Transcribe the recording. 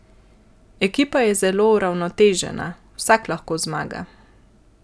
Ekipa je zelo uravnotežena, vsak lahko zmaga.